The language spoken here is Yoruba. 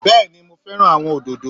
Bẹ́ẹ̀ni mo fẹ́ràn àwọn òdòdó